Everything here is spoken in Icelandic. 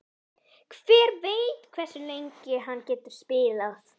Hver veit hversu lengi hann getur spilað?